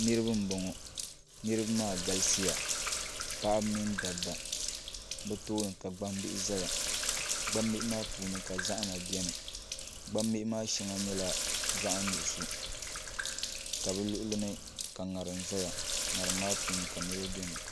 Niraba n bɔŋɔ niraba maa galisiya paɣaba mini dabba bi tooni ka gbambihi ʒɛya gbambihi maa puuni ka zahama biɛni gbambihi maa shɛŋa nyɛla zaɣ nuɣso ka bi luɣuli ni ka ŋarim ʒɛya ŋarim maa puuni ka niraba biɛni